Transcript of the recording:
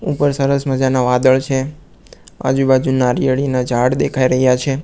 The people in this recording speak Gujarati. ઉપર સરસ મજાના વાદળ છે આજુ બાજુ નારિયેળીના ઝાડ દેખાય રહ્યા છે.